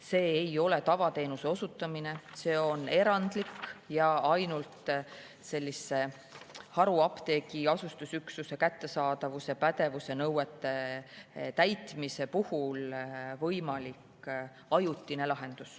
See ei ole tavateenuse osutamine, see on erandlik ajutine lahendus, mis on võimalik ainult haruapteegis kättesaadavuse ja pädevuse nõuete täitmise korral.